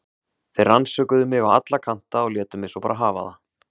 Þeir rannsökuðu mig á alla kanta og létu mig svo bara hafa það.